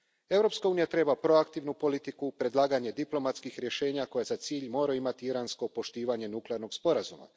Europska unija treba proaktivnu politiku, predlaganje diplomatskih rješenja koja za cilj moraju imati iransko poštovanje nuklearnog sporazuma.